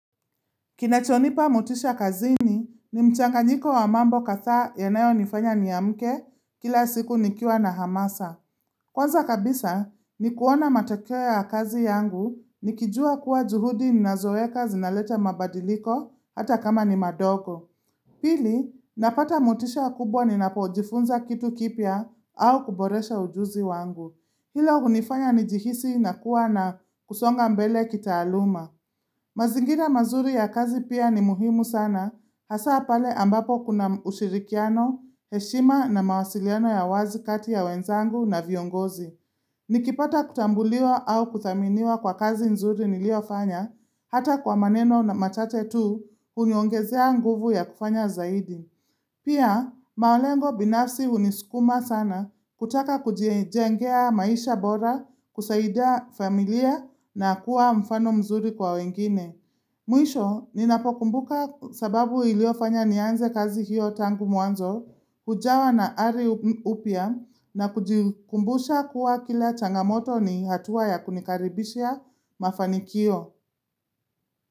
Kinachonipa motisha kazini ni mchanganyiko wa mambo kadhaa yanayonifanya niamke kila siku nikiwa na hamasa. Kwanza kabisa ni kuona matokeo ya kazi yangu nikijua kuwa juhudi ninazoweka zinaleta mabadiliko hata kama ni madogo. Pili, napata motisha kubwa ni napojifunza kitu kipya au kuboresha ujuzi wangu. Hilo hunifanya nijihisi na kuwa na kusonga mbele kitaaluma. Mazingira mazuri ya kazi pia ni muhimu sana, hasa pale ambapo kuna ushirikiano, heshima na mawasiliano ya wazi kati ya wenzangu na viongozi. Nikipata kutambuliwa au kuthaminiwa kwa kazi nzuri niliyofanya, hata kwa maneno machache tu, huniongezea nguvu ya kufanya zaidi. Pia, malengo binafsi hunisukuma sana kutaka kujiengea maisha bora, kusaidia familia na kuwa mfano mzuri kwa wengine. Mwisho, ninapokumbuka sababu iliyofanya nianze kazi hiyo tangu mwanzo, hujawa na ari upya na kujikumbusha kuwa kila changamoto ni hatua ya kunikaribishia mafanikio.